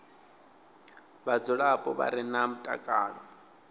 vhadzulapo vha re na mutakalo